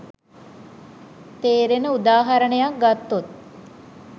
තේරෙන උදාහරණයක් ගත්තොත්